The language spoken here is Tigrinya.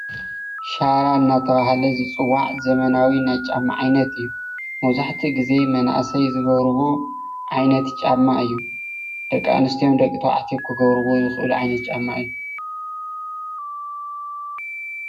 ሻራ እናተብሃለ ዝፅዋዕ ዘመናዊ ናይ ጫማ ዓይነት እዩ። መብዛሕትኡ ግዜ መናእሰይ ዝገብርዎ ዓይነት ጫማ እዩ። ደቂ ኣንስትዮን ደቂ ተባዕትዮን ክገብርዎ ዝኽእሉ ዓይነት ጫማ እዪ።